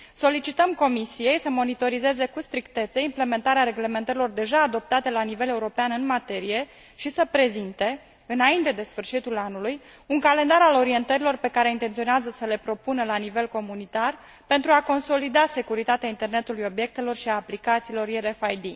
Solicităm Comisiei să monitorizeze cu strictețe implementarea reglementărilor deja adoptate la nivel european în materie și să prezinte, înainte de sfârșitul anului, un calendar al orientărilor pe care intenționează să le propună la nivel comunitar pentru a consolida securitatea internetului obiectelor și a aplicațiilor RFID.